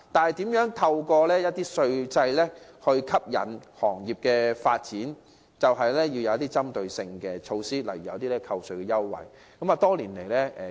為了透過稅制吸引工業發展，我們必需推出針對性措施，例如提供扣稅優惠。